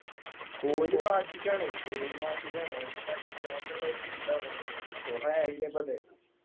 കോഹ്ലി വാശിക്കാണ് പേരും വാശിക്കാണ് ഓനിക്ക് അടിക്കണന്ന്ള്ള ഒര് ചിന്ത വന്ന്ക്കുണു കൊറേ ആയില്ലേ ഇപ്പത്